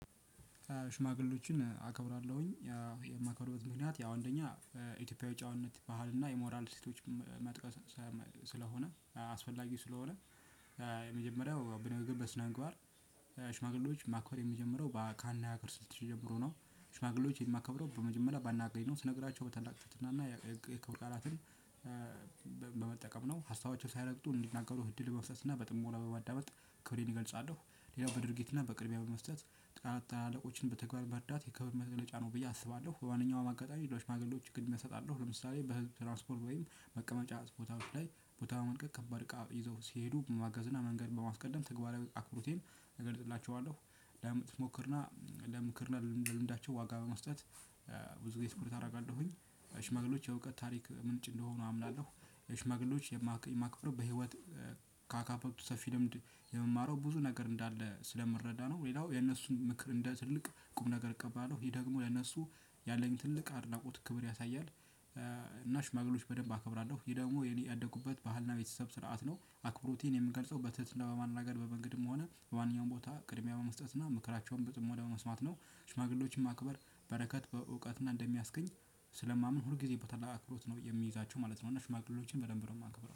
ሽማግሎችን አከብራለሁኝ የማከብርበት ምክንያት ያው አንደኛ ኢቶጲያዊ ጨዋነት በሀል እና የሞራል መጥቀስ ስለሆነ አስፈላጊ ስለሆነ የመጀመሪያው በንግግር በስነምግባር ሽማግሌዎች ማኮበር የሚጀምረው ካነጋገር ስልት ጀምሮ ነው ሽማግሌዎች የማከብረው በመጀመሪያ ባነጋገሬ ነው ስነግራቸው በታላቅ ትትና እና የክብር ቃላትን በመጠቀም ነው ሀሳባቸው ሳይረግጡ እንዲናገሩ እድል መስጠት እና በጥሞና በማዳመጥ ክብሬን እገልጻለሁ። ሌላው በድርጊት እና በቅድሚያ በመስጠት ታላቅ ታላለቆችን በተግባር መረዳት የከብድ መገለጫ ነው ብዬ አስባለሁ በማንኛውም አጋጣሚ ለሽማግሌዎች ቅድሚያ እሰጣለሁ ለምሳሌ በህዝብ ትራንስፖርት መቀመጫ ቦታወች ላይ ቦታ በመልቀቅከባድ እቃ ይዘው ሲሄዱ በማገዝና መንገድን በማስቀደም ተግባራዊ አክብሮቴን እገልጽላቸዋለው። ለምክርና ለልምዳቸው ዋጋ በመስጠት ብዙ ጊዜ ትኩረት አረጋለሁኝ ሽማግሌዎች የእውቀት ታሪክ ምንጭ እንደሆኑ አምናለሁ። ሽማግሌዎች የማክበር በህይወት ካካበቱት ሰፊ ልምድ የምማረው ብዙ ነገር እንዳለ ስለምረዳ ነው። ሌላው የነሱን ምክር እንደ ትልቅ ቁም ነገር እቀባለሁ ይሄ ደግሞ ለነሱ ያለኝ ትልቅ አድናቆት ክብር ያሳያል። እና ሽማግሌች በደንብ አከብራለሁ ይሄ ደግሞ የኔ ያደጉበት በሀልና ቤተሰብ ስርዓት ነው። አክብሮቴን የምንገልጸው በትህትና በማናገር በመንገድም ሆነ በማንኛውም ቦታ ቅድሚያ በመስጠትና ምክራቸውን ብጥሞና በመስማት ነው። ሽማግሌዎችን ማክበር በረከት በእውቀትና እንደሚያስገኝ ስለማምን ሁል ጊዜ በታላቅ አክብሮት ነው የሚይዛቸው ማለት ነው። እና ሽማግሎችን በደንብ ነው ማከብረው